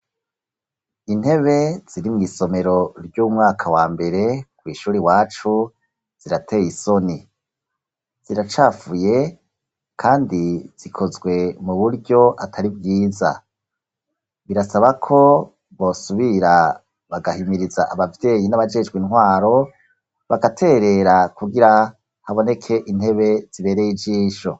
Intebe ziri mw'iisomero ry'umwaka wa mbere kw'ishuri iwacu zirateye isoni. Ziracafuye kandi zikozwe mu buryo atari bwiza. Birasaba ko bosubira bagahimiriza abavyeyi n'abajejwe intwaro bagaterera kugira haboneke intebe zibereye ijisho.